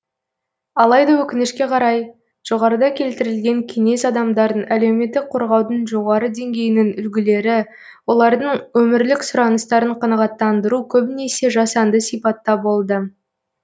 алайда өкінішке қарай жоғарыда келтірілген кеңес адамдарын әлеуметтік қорғаудың жоғары деңгейінің үлгілері олардың өмірлік сұраныстарын қанағаттандыру көбінесе жасанды сипатта болды